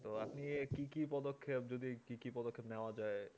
আর আপনি কি কি পদক্ষেপ যদি কি কি পদক্ষেপ নেয়া যায়